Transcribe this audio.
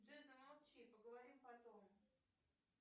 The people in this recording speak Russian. джой замолчи поговорим потом